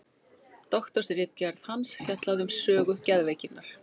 doktorsritgerð hans fjallaði um sögu geðveikinnar